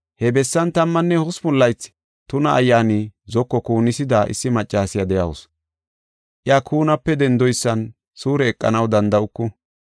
He bessan tammanne hospun laythi tuna ayyaani zoko kuunisida issi maccasiya de7awusu. Iya kuunape dendoysan suure eqanaw danda7uku.